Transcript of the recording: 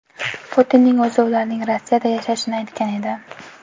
Putinning o‘zi ularning Rossiyada yashashini aytgan edi.